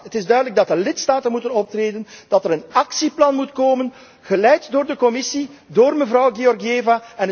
1,8 Het is duidelijk dat de lidstaten moeten optreden, dat er een actieplan moet komen, geleid door de Commissie, door mevrouw Georgieva.